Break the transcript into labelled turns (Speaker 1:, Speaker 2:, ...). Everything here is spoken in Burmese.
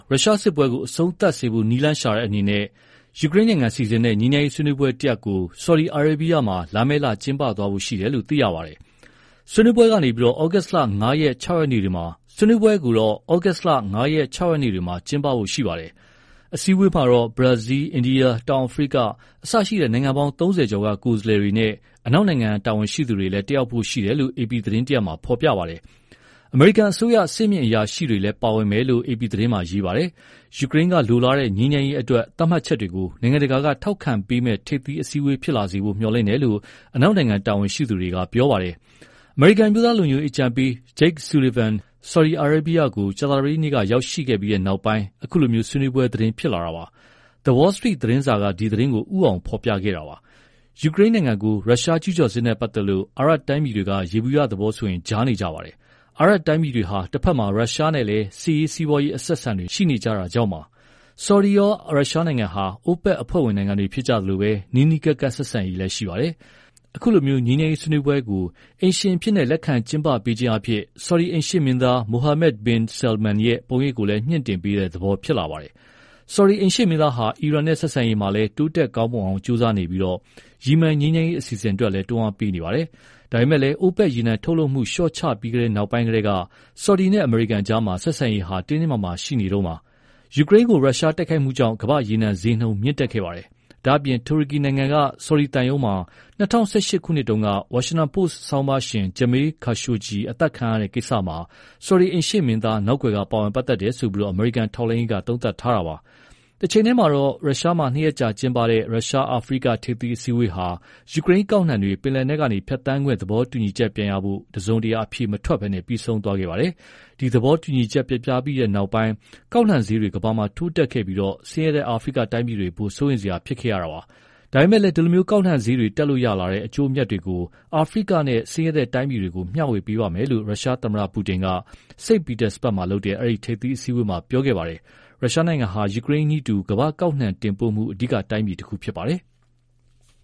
Speaker 1: ရုရှားစစ်ပွဲကို အဆုံးသတ်စေဖို့နည်းလမ်းရှာတဲ့အနေနဲ့ ယူကရိန်းကစီစဉ်တဲ့ငြိမ်းချမ်းရေးဆွေးနွေးပွဲတရပ်ကို ဆော်ဒီအာရေဗီးယားမှာ လာမယ့် ဩဂုတ်လ ၅ ရက်နဲ့ ၆ ရက်တွေမှာ ကျင်းပသွားဖို့ရှိတယ်လို့ သိရပါတယ်။ အစည်းအဝေးမှာတော့ ဘရာဇီး၊ အိန္ဒိယ၊ တောင်အာဖရိက စတဲ့နိုင်ငံပေါင်း ၃၀ ကျော်က ကိုယ်စားလှယ်တွေနဲ့ အနောက်နိုင်ငံတွေကတာဝန်ရှိသူတွေလည်း တက်ရောက်ဖို့ရှိတယ်လို့ အေပီသတင်းမှာ ဖော်ပြပါတယ်။ အမေရိကန်အစိုးရ အဆင့်မြင့် အရာရှိတွေလည်း ပါဝင်မယ်လို့ အေပီသတင်းမှာရေးပါတယ်။ ယူကရိန်းကလိုလားတဲ့ ငြိမ်းချမ်းရေးအတွက်သတ်မှတ်ချက်တွေကို နိုင်ငံတကာကထောက်ခံပေးမယ့် ထိပ်သီးအစည်းအဝေးဖြစ်လာနိုင်ဖို့မျှော်လင့်တယ်လို့ အနောက်နိုင်ငံ တာဝန်ရှိသူတွေက ပြောပါတယ်။ အမေရိကန်အမျိုးသားလုံခြုံရေးအကြံပေး Jake Sullivan က ဆော်ဒီကို ကြာသာပတေးနေ့မှာ ရောက်ရှိခဲ့ပြီးနောက်ပိုင်း အခုလို ဆွေးနွေးပွဲသတင်း ဖြစ်လာတာပါ။ The Wall Street သတင်းစာက ဒီ သတင်းကို ဦီးဆုံးဖော်ပြခဲ့တာပါ။ အခု ယူကရိန်းကို ရုရှားကျူးကျော်စစ်နဲ့ပတ်သက်လို့ အာရပ်တိုင်းပြည်တွေက ယေဘုယျသဘောဆိုရင် ကြားနေကြပါတယ်။ အာရပ်တိုင်းပြည်တွေဟာ တဖက်မှာ ရုရှားနဲ့လည်း စစ်ရေး၊ စီးပွားရေးအဆက်အဆံတွေ ရှိကြတာကြောင့်ပါ။ ဆော်ဒီရော ရုရှားနိုင်ငံဟာ OPEC အဖွဲ့ဝင်နိုင်ငံတွေဖြစ်ကြသလို နီးနီးကပ်ကပ်ဆက်ဆံရေးလည်း ရှိကြပါတယ်။ အခုလို ငြိမ်းချမ်းရေးဆွေးနွေးပွဲကို အိမ်ရှင်အဖြစ် လက်ခံကျင်းပပေးခြင်းအားဖြင့် ဆော်ဒီ အိမ်ရှေ့မင်းသား Mohammed bin Sal man ရဲ့ ပုံရိပ်ကိုလည်း မြှင့်တင်ပေးတဲ့သဘောဖြစ်လာတယ်။ ဆော်ဒီအိမ်ရှေ့မင်းသားဟာ အီရန်နဲ့ ဆက်ဆံရေးမှာလည်း တိုးတက် ကောင်းမွန်အောင်ကြိုးစားနေပြီး ယီမန်ငြိမ်းချမ်းရေးအစီအစဉ်အတွက်လည်း တွန်းအားပေးနေတာပါ။ ဒါပေမဲ့လည်း OPEC ရေနံထုတ်လုပ်မှု လျှော့ချပြီးတဲ့နောက်ပိုင်းကတည်းက ဆော်ဒီနဲ့ အမေရိကန်ကြားဆက်ဆံရေးဟာ တင်းတင်းမာမာရှိနေတုန်းပါ။ ယူကရိန်းကို ရုရှားတိုက်ခိုက်မှုကြောင့် ကမ္ဘာ့ရေနံဈေးနှုန်း မြင့်တက်လာခဲ့ပါတယ်။ ဒါ့အပြင် တူရကီနိုင်ငံက ဆော်ဒီသံရုံးမှာ ၂၀၁၈ ခုနှစ်က Washington Post ဆောင်းပါးရှင် Jamel Khashoggi အသတ်ခံရမှုမှာ ဆော်ဒီ အိမ်ရှေ့မင်းသား နောက်ကွက်က ပါဝင်တယ်လို့ အမေရိကန်ထောက်လှမ်းရေးသုံးသပ်ထားတာပါ။ တချိန်တည်းမှာတော့ ရုရှားမှာ နှစ်ရက်ကြာကျင်းပတဲ့ ရုရှား-အာဖရိက ထိပ်သီးအစည်းအဝေးဟာ ယူကရိန်းကောက်နှံတွေ ပင်လက်နက်ကနေ ဖြတ်သန်းခွင့် သဘောတူညီချက်ပြန်ရဖို့ တစုံတရာအဖြေမထွက်ပဲ ပြီးဆုံးသွားပါတယ်။ ဒီသဘောတူညီချက်ပျက်ပြီးနောက် ကောက်နှံဈေးတွေ ကမ္ဘာမှာ ထိုးတက်ခဲ့ပြီး ဆင်းရဲတဲ့အာဖရိကတိုင်းပြည်တွေအဖို့ စိုးရိမ်စရာဖြစ်ခဲ့ရတာပါ။ ဒါပေမဲ့ ဒီလို ကောက်နှံဈေးတွေတက်လို့ ရလာတဲ့အကျိုးအမြတ်တွေကို အာဖရိကနဲ့ ဆင်းရဲတဲ့တိုင်းပြည်တွေကို မျှဝေပေးပါ့မယ်လို့ ရုရှားသမ္မတပူတင်က St-Petersbrug မှာလုပ်တဲ့ အဲဒီ ထိပ်သီးအစည်းအဝေးမှာ ပြောခဲ့ပါတယ်။ ရုရှားဟာ ယူကရိန်းနည်းတူ ကမ္ဘာကောက်နှံတင်ပို့မှု အဓိက တိုင်းပြည်တခုဖြစ်ပါတယ်။